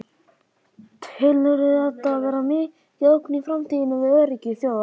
Telurðu þetta vera mikla ógn í framtíðinni við öryggi þjóða?